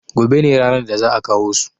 gobe ne ranar da za`a kawo su